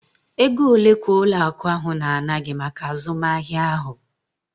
Ego ole ka ụlọ akụ ahụ na-ana gị maka azụmahịa ahụ?